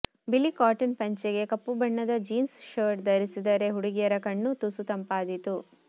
ಬಿಳಿ ಕಾಟನ್ ಪಂಚೆಗೆ ಕಪ್ಪು ಬಣ್ಣದ ಜೀನ್ಸ್ ಶರ್ಟ್ ಧರಿಸಿದರೆ ಹುಡುಗಿಯರ ಕಣ್ಣೂ ತುಸು ತಂಪಾದೀತು